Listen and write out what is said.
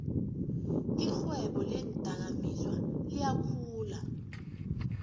irhwebo leendakamizwa liyakhula